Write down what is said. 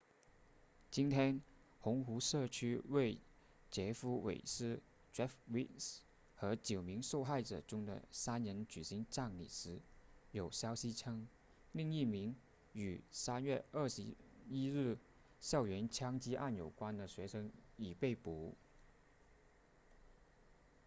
今天红湖社区为杰夫韦斯 jeff weise 和九名受害者中的三人举行葬礼时有消息称另一名与3月21日校园枪击案有关的学生已被捕